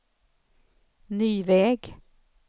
ny väg